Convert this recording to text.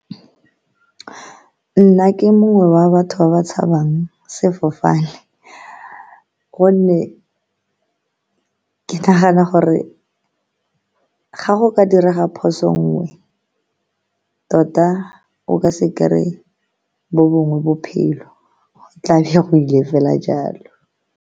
Nna ke mongwe wa batho ba ba tshabang sefofane, ka gonne ke nagana gore ga go ka direga phoso nngwe, tota o ka se kry-ye bo bongwe bophelo tlabe go ile fela jalo.